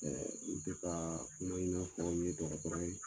u tɛ ka kuma ɲuman fɔ ni dɔgɔtɔrɔ ye.